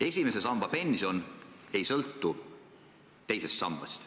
Esimese samba pension ei sõltu teisest sambast.